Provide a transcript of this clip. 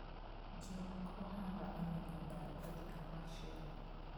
Jolok ohala onego odar odhi kamachielo.